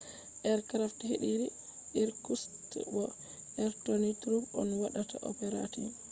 aircraft hediri irkutsk bo interior troops on waɗata operating